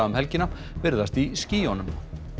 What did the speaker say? um helgina virðast í skýjunum